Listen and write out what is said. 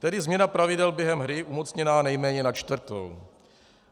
Tedy změna pravidel během hry umocněná nejméně na čtvrtou.